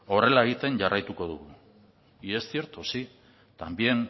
horrela egiten jarraituko dugu y es cierto sí